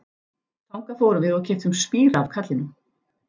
Þangað fórum við og keyptum spíra af karlinum.